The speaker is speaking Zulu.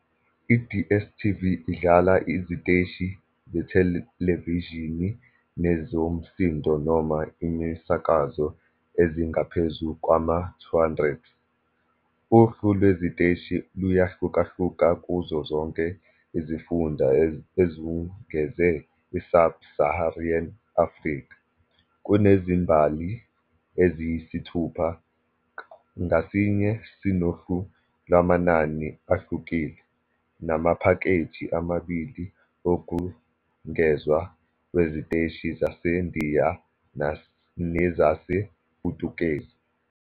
IDStv idlala iziteshi zethelevishini nezomsindo noma imisakazo ezingaphezu kwama-200. Uhlu lweziteshi luyahlukahluka kuzo zonke izifunda ezungeze i-Sub-Saharan Africa. Kunezimbali eziyisithupha, ngasinye sinohlu lwamanani ahlukile, namaphakeji amabili wokungezwa weziteshi zaseNdiya nezasePutukezi.